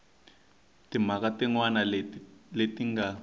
timhaka tin wana leti nga